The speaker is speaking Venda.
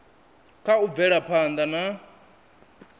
kha u bvela phanda na